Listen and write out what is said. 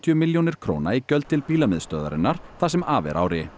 milljónir króna í gjöld til það sem af er ári